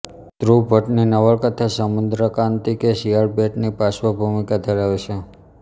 ધ્રુવ ભટ્ટની નવલકથા સમુદ્રાન્તિકે શિયાળબેટની પાશ્વભૂમિકા ધરાવે છે